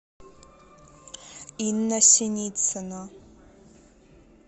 инна синицына